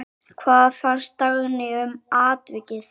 Hvað fannst Dagný um atvikið?